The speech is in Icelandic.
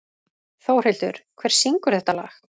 Þórhildur, hver syngur þetta lag?